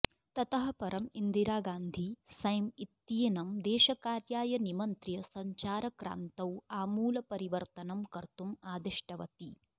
ततः परम् इन्दिरा गान्धी सॅम इत्येनं देशकार्याय निमन्त्र्य सञ्चारक्रान्तौ आमूलपरिवर्तनं कर्तुम् आदिष्टवती